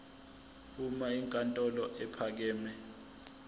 uma inkantolo ephakeme